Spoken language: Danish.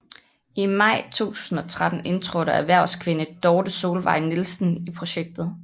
I maj 2013 indtrådte erhvervskvinde Dorthe Solvejg Nielsen i projektet